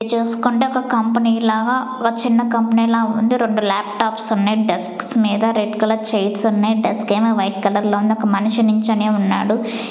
చూసుకుంటే ఒక కంపెనీ లాగా ఓ చిన్న కంపెని లా ఉంది. రెండు లాప్టాప్స్ ఉన్నాయి డెస్క్స్ మీద రెడ్ కలర్ చైర్స్ ఉన్నాయి డెస్క్ ఏమో వైట్ కలర్ లో ఉంది. ఒక మనిషి నించొనే ఉన్నాడు.